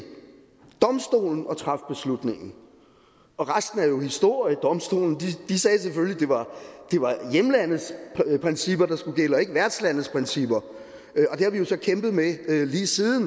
træffe beslutningen og resten er jo historie domstolen at det var hjemlandets principper der skulle gælde og ikke værtslandets principper og så kæmpet med lige siden